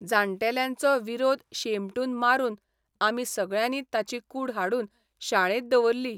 जाण्टेल्यांचो विरोध शेंबटून मारून आमी सगळ्यांनी ताची कूड हाडून शाळेत दवरली.